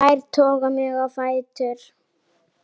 Þær toga mig á fætur.